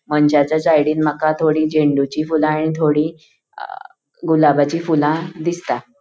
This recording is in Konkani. मनशाचा साइडीन माका थोड़ी झेन्डुची फूला एन्ड थोड़ी गुलाबाची फूला दिसता.